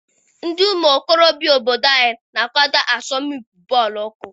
Ndị ụmụ okorobịa obodo anyị na-akwado asọmpi bọọlụ ụkwụ.